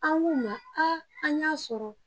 An k'u ma a an y'a sɔrɔ